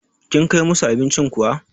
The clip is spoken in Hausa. Kin Kai musu abincin kuwa?